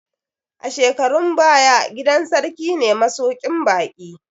A shekarun baya, gidan sarki ne masuƙin baƙi